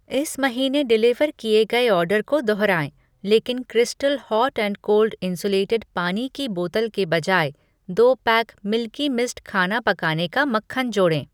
इस महीने डिलीवर किए गए ऑर्डर को दोहराएँ लेकिन crystal hot and cold insulated पानी की बोतल के बजाय दो पैक मिल्की मिस्ट खाना पकाने का मक्खन जोड़ें।